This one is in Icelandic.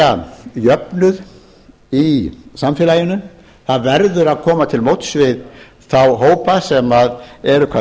tryggja jöfnuð í samfélaginu það verður að koma til móts við þá hópa sem eru hvað